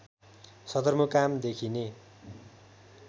सदरमुकाम देखिने